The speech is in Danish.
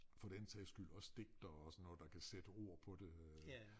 For den sags skyld også digtere og sådan noget der kan sætte ord på det øh